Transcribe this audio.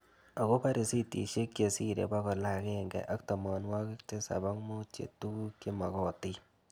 Akopo risitishek che sirei pokol ag'eng'e ak tamanwog'ik tisap ak mut che tuguk che magatin